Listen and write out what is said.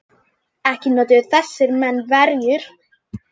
Ekki notuðu þessir menn verjur.